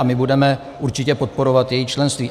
A my budeme určitě podporovat její členství.